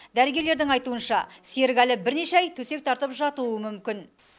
дәрігерлердің айтуынша серік әлі бірнеше ай төсек тартып жатуы мүмкін